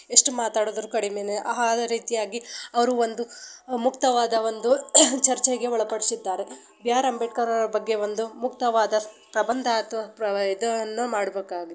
ಎಷ್ಟು ಮಾತಾಡಿದ್ರು ಕಡಿಮೇನೆ ಆ ಅದೇ ರೀತಿಯಾಗಿ ಅವರು ಒಂದು ಮುಕ್ತವಾದ ಒಂದು ಮುಕ್ತವಾದ ಚರ್ಚೆಗೆ ಒಳಪಡಿಸಿದ್ದಾರೆ. ಬಿ ಆರ್ ಅಂಬೇಡ್ಕರ್ ಅವರು ಮುಕ್ತವಾದ ಪ್ರಬಂಧ ಅಥವಾ ಇದನ್ನು--